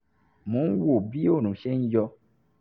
mo ń wo bí oòrùn ṣe ń yọ